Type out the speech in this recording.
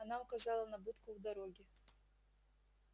она указала на будку у дороги